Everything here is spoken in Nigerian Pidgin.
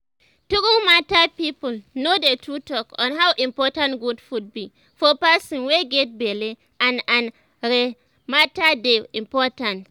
true matter people no dey to talk on how important good food be for person wey get belle and and rhe matter dey important